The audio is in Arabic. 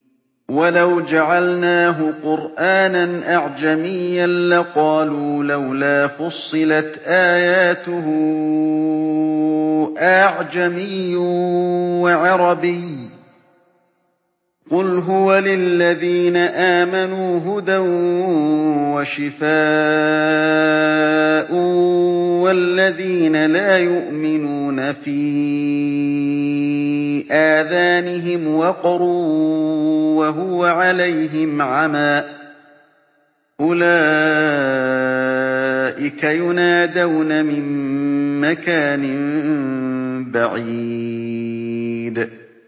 وَلَوْ جَعَلْنَاهُ قُرْآنًا أَعْجَمِيًّا لَّقَالُوا لَوْلَا فُصِّلَتْ آيَاتُهُ ۖ أَأَعْجَمِيٌّ وَعَرَبِيٌّ ۗ قُلْ هُوَ لِلَّذِينَ آمَنُوا هُدًى وَشِفَاءٌ ۖ وَالَّذِينَ لَا يُؤْمِنُونَ فِي آذَانِهِمْ وَقْرٌ وَهُوَ عَلَيْهِمْ عَمًى ۚ أُولَٰئِكَ يُنَادَوْنَ مِن مَّكَانٍ بَعِيدٍ